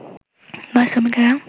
বাস শ্রমিকেরা